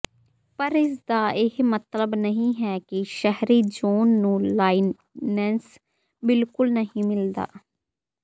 ਪਰ ਇਸ ਦਾ ਇਹ ਮਤਲਬ ਨਹੀਂ ਹੈ ਕਿ ਸ਼ਹਿਰੀ ਜ਼ੋਨ ਨੂੰ ਲਾਇਨੈਂਸ ਬਿਲਕੁਲ ਨਹੀਂ ਮਿਲਦਾ